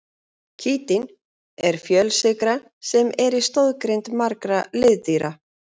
Kítín er fjölsykra sem er í stoðgrind margra liðdýra.